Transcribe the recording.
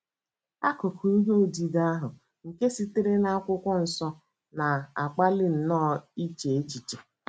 AKỤKỤ ihe odide ahụ nke sitere na akwụkwọ nsọ na - akpali nnọọ iche echiche.